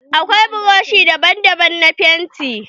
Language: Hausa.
Akwai buroshi daban daban na fenti